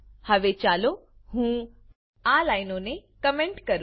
હવે ચાલો હું આ લાઈનોને કોમેન્ટ કરું